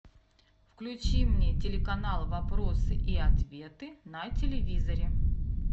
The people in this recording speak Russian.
включи мне телеканал вопросы и ответы на телевизоре